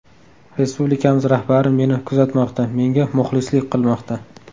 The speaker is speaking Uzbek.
Respublikamiz rahbari meni kuzatmoqda, menga muxlislik qilmoqda.